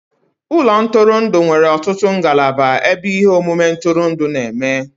Ụlọ ntụrụndụ nwere ọtụtụ ngalaba ebe ihe omume ntụrụndụ na-eme